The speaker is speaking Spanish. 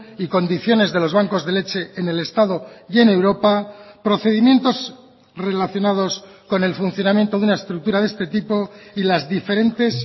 y condiciones de los bancos de leche en el estado y en europa procedimientos relacionados con el funcionamiento de una estructura de este tipo y las diferentes